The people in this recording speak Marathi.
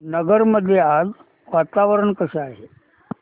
नगर मध्ये आज वातावरण कसे आहे